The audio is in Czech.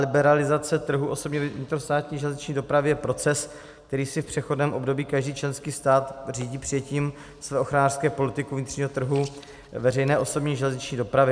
Liberalizace trhu osobní vnitrostátní železniční dopravy je proces, který si v přechodném období každý členský stát řídí přijetím své ochranářské politiky vnitřního trhu veřejné osobní železniční dopravy.